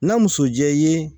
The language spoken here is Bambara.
Na muso jɛ i ye